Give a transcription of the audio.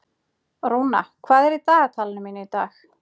Rúna, hvað er í dagatalinu mínu í dag?